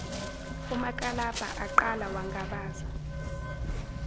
umakalabha aqala wangabaza